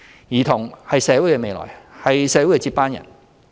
兒童是社會的未來，是社會的接班人。